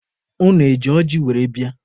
Unu eji ọjị were bịa?